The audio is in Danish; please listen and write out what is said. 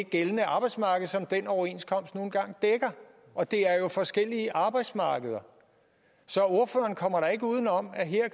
gældende arbejdsmarked som den overenskomst nu engang dækker og det er jo forskellige arbejdsmarkeder så ordføreren kommer da ikke uden om at her